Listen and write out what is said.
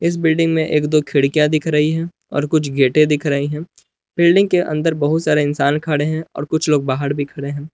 इस बिल्डिंग में एक दो खिड़कियां दिख रही है और कुछ गेटे दिख रही हैं बिल्डिंग के अंदर बहुत सारे इंसान खड़े हैं और कुछ लोग बाहर भी खड़े हैं।